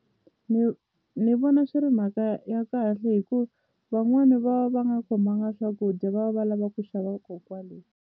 Ni ni vona swi ri mhaka ya kahle hi ku van'wani va va nga khomanga swakudya va va lava ku xava ko kwale.